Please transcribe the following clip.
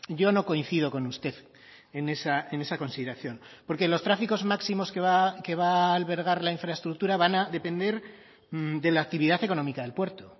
yo no coincido con usted en esa consideración porque los tráficos máximos que va albergar la infraestructura van a depender de la actividad económica del puerto